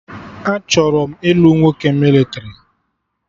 Achọrọ m ilu nwoke mịlịtrị